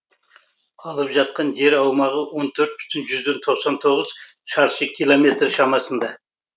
алып жатқан жер аумағы он төрт бүтін жүзден тоқсан тоғыз шаршы километр шамасында